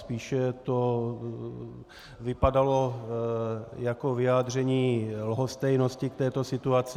Spíše to vypadalo jako vyjádření lhostejnosti k této situaci.